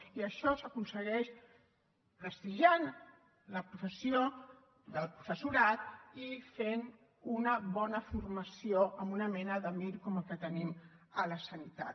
i això s’aconsegueix prestigiant la professió del professorat i fent una bona formació amb una mena de mir com el que tenim a la sanitat